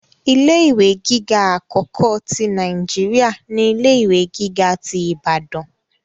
Ilé ìwé gíga akọkọ ti Naijiria ni ilé ìwé gíga tí Ìbàdàn.